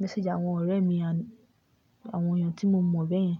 message àwọn ọ̀rẹ́ mi àní àwọn èèyàn tí mo mọ̀ bẹ́ẹ̀ yẹn.